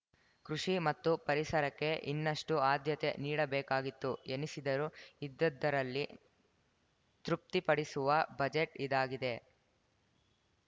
ಕೃಷಿ ಮತ್ತು ಪರಿಸರಕ್ಕೆ ಇನ್ನಷ್ಟುಆದ್ಯತೆ ನೀಡಬೇಕಾಗಿತ್ತು ಎನಿಸಿದರೂ ಇದ್ದುದರಲ್ಲಿ ತೃಪ್ತಿಪಡಿಸುವ ಬಜೆಟ್‌ ಇದಾಗಿದೆ